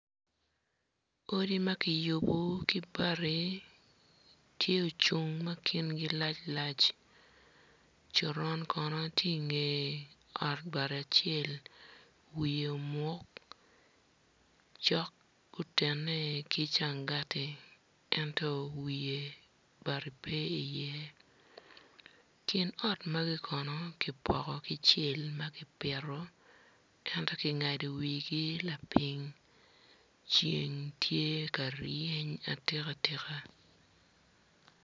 Odi ma kiyubo ki bati tye ocung ma kingi lac lac coron kono tye inge ot bati acel wiye omuk cok gutene ki cangati ento wiye bati pe iye kin ot magi kono kipoko ki cel ma kipito ento kingado wigi lapiny ceng tye ka ryeny atika tika.